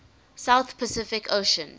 southern pacific ocean